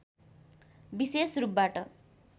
विशेष रूपबाट